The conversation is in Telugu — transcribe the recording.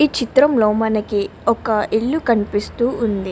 ఈ చిత్రం లో మనకి ఒక ఇల్లు కనపడుతునది.